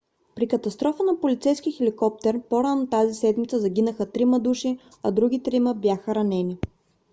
при катастрофа на полицейски хеликоптер по - рано тази седмица загинаха трима души а други трима бяха ранени